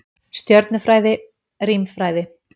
Stjörnufræði- Rímfræði.